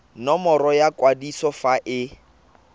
nomoro ya kwadiso fa e